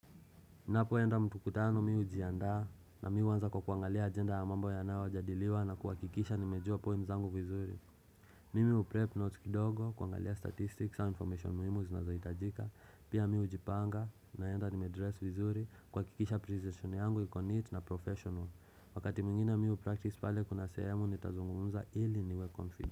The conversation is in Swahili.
Ninapoenda mtukutano mi hujiandaa na mi uanza kwa kuangalia ajenda ya mambo yanayo jadiliwa na kuhakikisha nimejua point zangu vizuri. Mimi uprep notes kidogo kuangalia statistics, za information muhimu zinazohitajika. Pia mi hujipanga naenda nimedress vizuri kuhakikisha presentation yangu iko neat na professional. Wakati mwingine mi upractice pale kuna sehemu nitazungumza ili niwe confident.